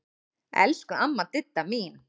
Elsku amma Didda mín.